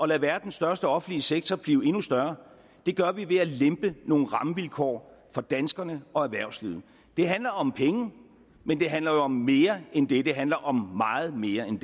lade verdens største offentlige sektor blive endnu større det gør vi ved at lempe nogle rammevilkår for danskerne og erhvervslivet det handler om penge men det handler jo om mere end det det handler om meget mere end